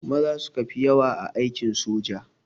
Maza suka fi yawa a aikin soja